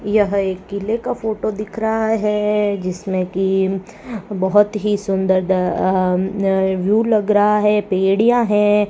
यह एक किले का फोटो दिख रहा है जिसमें कि बहुत ही सुंदर अह अह व्यू लग रहा है बेड़िया हैं।